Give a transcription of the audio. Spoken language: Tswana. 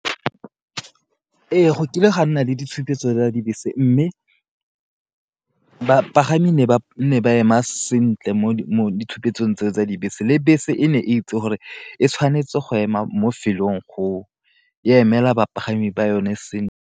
Ee, go kile ga nna le ditshupetso tsa dibese mme ba pagami ne ba nne ba ema sentle mo ditshupetso tsa dibese le bese e ne e itse gore e tshwanetse go ema mo lefelong go emela bapagami ba yone sentle.